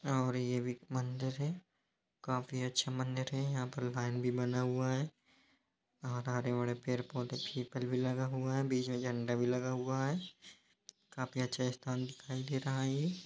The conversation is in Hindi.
और ये भी मंदिर है काफी अच्छा मंदिर है। यहाँ पर लायन भी बना हुआ है और हरे-भरे पेड़-पौधे भी पीपल भी लगा हुआ है। बीच में झंडा भी लगा हुआ है। काफी अच्छा स्थान दिखाई दे रहा है ये।